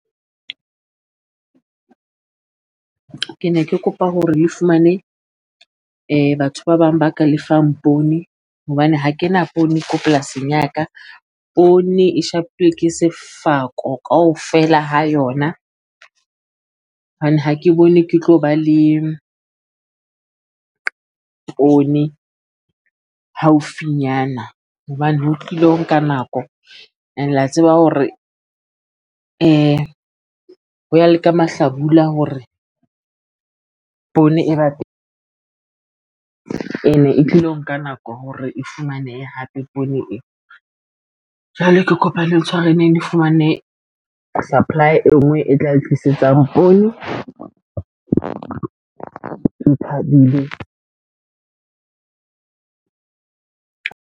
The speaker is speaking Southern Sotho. Ke ne ke kopa hore le fumane batho ba bang ba ka lefang poone hobane ha kena poone ko polasing ya ka poone e shapuwe ke sefako kaofela ha yona, hobane ha ke bone ke tlo ba le poone haufinyana. Hobane ho tlile ho nka nako and-e la tseba hore ho ya leka mahlabula hore poone e ba teng, ene e tlilo nka nako hore e fumanehe hape poone e, jwale ke kopa lentshwareleng le fumane supply e ngwe e tla le tlisetsang poone. O thabile, .